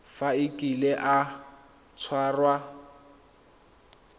fa a kile a tshwarwa